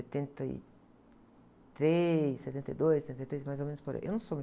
Setenta e três, setenta e dois, setenta e três, mais ou menos por aí. Eu não sou